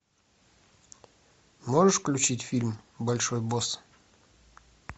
можешь включить фильм большой босс